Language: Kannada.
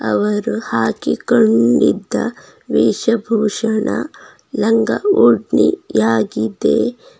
ಇವರು ಹಾಕಿಕೊಂಡಿದ್ದ ವೇಷ ಭೂಷಣ ಲಂಗ ಉಡ್ನಿಯಾಗಿದೆ.